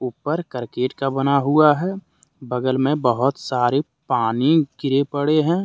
ऊपर करकेट का बना हुआ है बगल मे बहोत सारे पानी गिरे पड़े हैं।